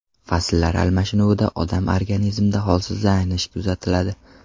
Fasllar almashinuvida odam organizmida holsizlanish kuzatiladi.